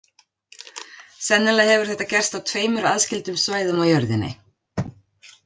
Sennilega hefur þetta gerst á tveimur aðskildum svæðum á jörðinni.